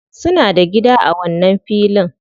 Suna da gida a wannan filin.